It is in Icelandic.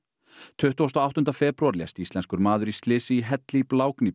tuttugasta og áttunda febrúar lést íslenskur maður í slysi í helli í